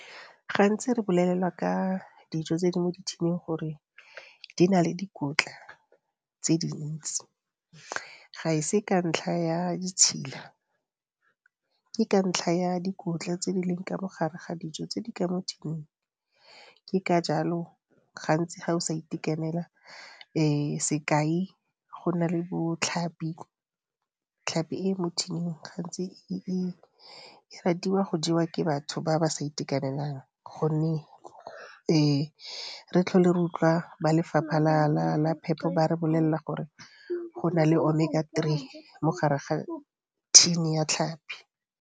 Gantsi re bolelelwa ka dijo tse di mo dithining gore di na le dikotla tse dintsi, ga e se ka ntlha ya ditshila. Ke ka ntlha ya dikotla tse di leng ka mo gare ga dijo tse di ka mo thining ke ka jalo gantsi ga o sa itekanela sekai go na le botlhapi. Tlhapi e e mo thining gantsi e ratiwa go jewa ke batho ba ba sa itekanelang gonne re tlhole re utlwa ba lefapha la phepo ba re bolelela gore go na le Omega three mo gare ga thini ya tlhapi.